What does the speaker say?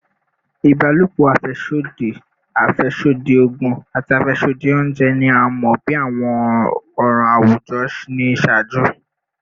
Ibalopo afẹsodi, afẹsodi oogun, ati afẹsodi ounjẹ ni a mọ bi awọn ọran awujọ ni iṣaaju